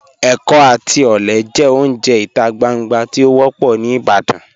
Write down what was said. Ẹkọ àti ọlẹ jẹ ọ̀unje ita gbàngbà tí o wọ́pọ̀ ni Ìbàdàn.